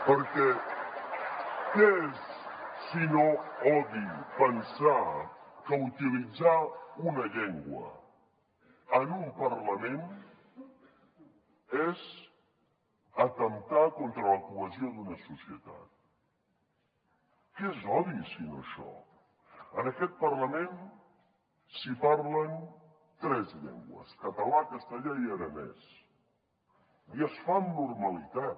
perquè què és si no odi pensar que utilitzar una llengua en un parlament és atemptar contra la cohesió d’una societat què és l’odi si no això en aquest parlament s’hi parlen tres llengües català castellà i aranès i es fa amb normalitat